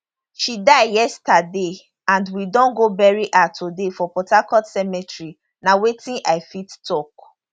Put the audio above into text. she die yesterday and we don go bury her today for port harcourt cemetery na wetin i fit tok